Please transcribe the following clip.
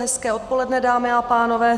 Hezké odpoledne, dámy a pánové.